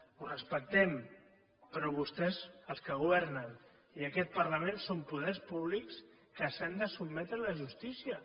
ho respectem però vostès els que governen i aquest parlament són poders públics que s’han de sotmetre a la justícia